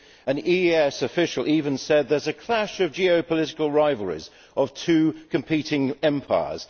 An EEAS official has even said there is a clash of geopolitical rivalries of two competing empires.